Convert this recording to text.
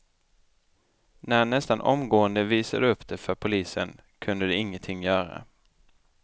När han nästan omgående visade upp det för polisen kunde de ingenting göra.